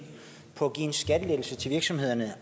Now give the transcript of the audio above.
på at give en skattelettelse til virksomhederne